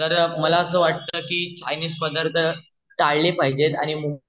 तर मला असं वाटतं कि चाइनीस पढार्थ टाळले पाहिजेत आणि मू